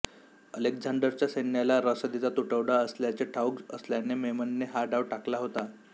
अलेक्झांडरच्या सैन्याला रसदीचा तुटवडा असल्याचे ठाउक असल्याने मेमननने हा डाव टाकला होता